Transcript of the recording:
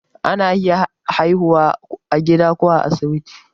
ana iya haihuwa a gida ko asibiti